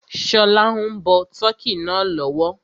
Ṣọlá ń bọ tọ́kì náà lọ́wọ́